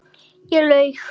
Ég laug.